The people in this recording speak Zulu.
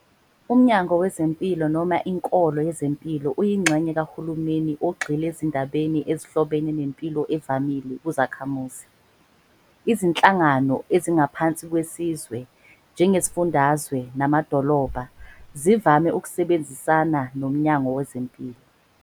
Umnyango wezempilo noma Inkolo yezempilo uyingxenye kahulumeni ogxile ezindabeni ezihlobene nempilo evamile kuzakhamuzi. Izinhlan gano ezingaphansi kwesizwe, njengezifundazwe, namadolobha, zivame ukusebenzisana nomnyango wazo wezempilo.